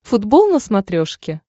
футбол на смотрешке